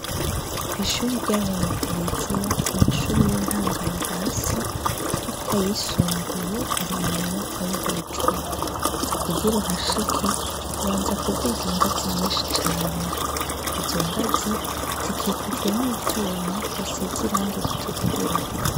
Kw'ishure rya bene Tereziya amashure y'intango ari hasi ariko ayisumbuye ari mu nyubakwa yo hejuru kugir'uhashike ubanza kuduga ingazi nyinshi cane, izo ngazi zikikujwe n'ivyuma bisize irangi ritukura.